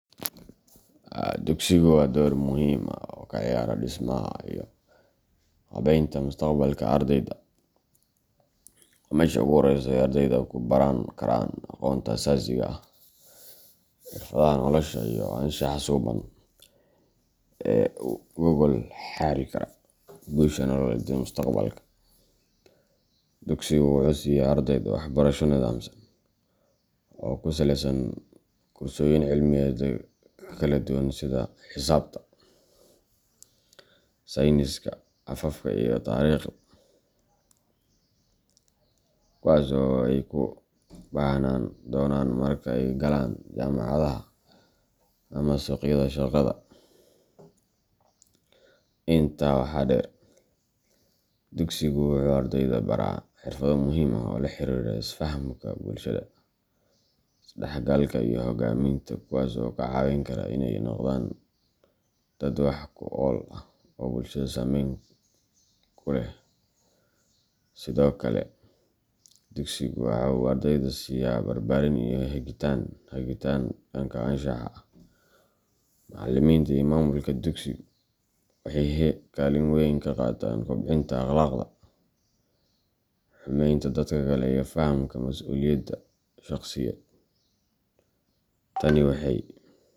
Dugsigu wuxuu door muhiim ah ka ciyaaraa dhismaha iyo qaabaynta mustaqbalka ardayda. Waa meesha ugu horreysa ee ardaydu ku baran karaan aqoonta asaasiga ah, xirfadaha nolosha, iyo anshaxa suuban ee u gogol xaari kara guusha nololeed ee mustaqbalka. Dugsigu wuxuu siiya ardayda waxbarasho nidaamsan oo ku saleysan kursooyin cilmiyeed kala duwan sida xisaabta, sayniska, afafka, iyo taariikhda, kuwaas oo ay u baahnaan doonaan marka ay galaan jaamacadaha ama suuqyada shaqada. Intaa waxaa dheer, dugsigu wuxuu ardayda baraa xirfado muhiim ah oo la xiriira isfahamka bulshada, isdhexgalka, iyo hogaaminta kuwaas oo ka caawin kara inay noqdaan dad wax ku ool ah oo bulshada saameyn ku leh. Sidoo kale, dugsiga waxa uu ardayda siiya barbaarin iyo hagitaan dhanka anshaxa ah. Macalimiinta iyo maamulka dugsigu waxay kaalin weyn ka qaataan kobcinta akhlaaqda, xurmeynta dadka kale, iyo fahamka mas’uuliyadda shakhsiyeed. Tani waxay.